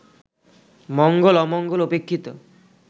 মঙ্গল-অমঙ্গল উপেক্ষিত